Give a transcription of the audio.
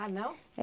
Ah, não?